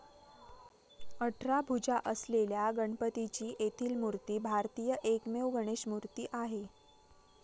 अठरा भुजा असलेल्या गणपतीची येथील मूर्ती भारतातील एकमेव गणेशमूर्ती आहे.